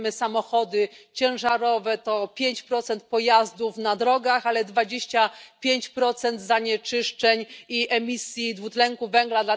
Jak wiemy, samochody ciężarowe to 5 pojazdów na drogach, ale 25 zanieczyszczeń i emisji dwutlenku węgla.